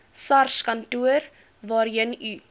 sarskantoor waarheen u